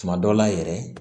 Tuma dɔ la yɛrɛ